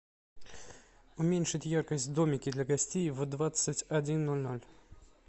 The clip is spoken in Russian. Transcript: уменьшить яркость в домике для гостей в двадцать один ноль ноль